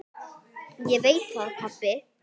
Ég veit það pabbi.